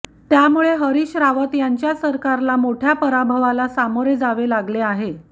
त्यामुळे हरीश रावत यांच्या सरकारला मोठय़ा पराभवाला सामोरे जावे लागले आहे